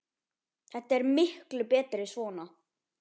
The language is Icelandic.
Þetta er miklu betra svona.